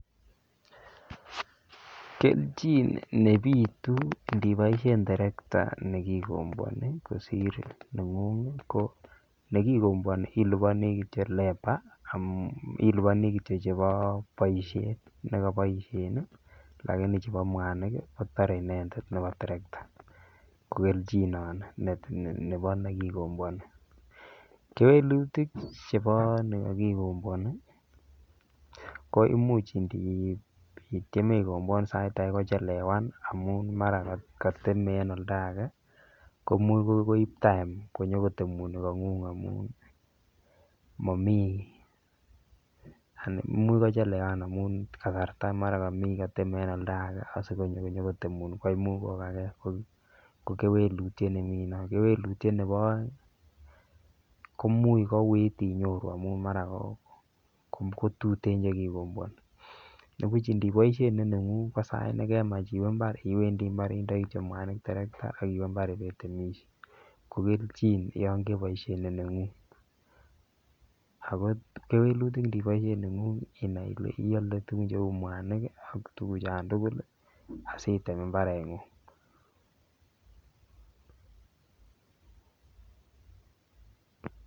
Keljin nepitu ndiboishen terekta nekikobwon kosir nenguny ko nekikobwoni iliponii kityok labour amun iliponii kityok chebo boishet nekoboishen nii lakini chebo mwanik kii kotore inendet nebo terekta ko keljin nono nebo nekikobwon. Kewelutik chebo nikokikobwoni ko imuch ndityeme ikobwan sai age kochelewan nii amun mara kiteme en oldage komuch koib time konyokotemu nikongung amun momii imuch kochelewan amun kasarta mara komii koteme en oldage asikonyo konyo kotemun koimuch kogagee ko kewelutyet nemii non. Kewelutyet nebo oeng koimuch kouit inyoru amun mara kotuten chekikobwoni nibuch ndiboishen nenengung kosait nekemach iwee imbar iwendii imbar indoi kityok muanik terekta akiwe imbar ibetemishe ko keljin yon keboishen nenengung. Ako kewelutik ndiboishen nengung ina Ile iole tukun che mwanik kii ak tukuk chon tukul lii asitem imbarenguny.